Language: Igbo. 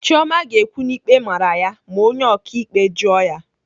Chioma ga-ekwu na ikpe mara ya ma onye ọkaikpe jụọ ya.